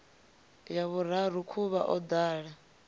ya vhuraru khuvha o ḓala